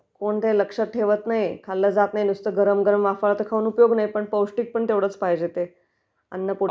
कोण काही लक्षात ठेवत नाही ....खाल्ल जात नाही .... नुसतं वाफाळलेलं खाऊन काही उपयोग नाहीय ते पौष्टीकपण तेवढच पाहिजे ते अन्न...